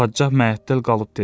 Padşah məəttəl qalıb dedi: